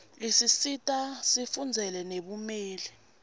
isisita sifundzele nebumeli